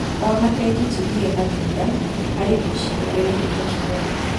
Ona bengi ti ndige na thutha harĩ ũici ũgereire tekinoronjĩ